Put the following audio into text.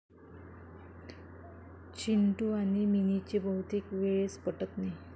चिंटू आणि मिनीचे बहुतेक वेळेस पटत नाही.